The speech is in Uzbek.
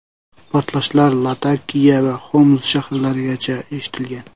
Portlashlar Latakiya va Xoms shaharlarigacha eshitilgan.